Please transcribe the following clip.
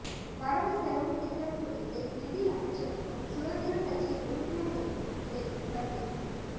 வரவு செலவுத் திட்டம் குறித்து நிதி அமைச்சருக்கும் சுதந்திரக் கட்சியின் உறுப்பினர்களுக்கும் இடையில் சந்திப்பு